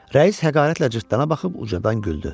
Rəis həqarətlə cırtdana baxıb ucadan güldü.